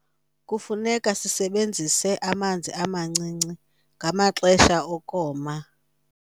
kufuneka sisebenzise amanzi amancinci ngamaxesha okoma